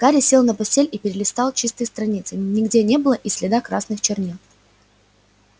гарри сел на постель и перелистал чистые страницы нигде не было и следа красных чернил